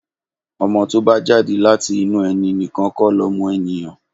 Ọmọ to bá jáde láti inú ẹni nìkan kó lọmọ èniyàn.